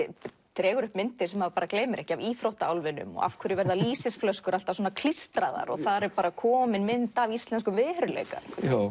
dregur upp myndir sem maður gleymir ekki af íþróttaálfinum og af hverju verða lýsisflöskur alltaf klístraðar og þar er komin mynd af Íslenskum veruleika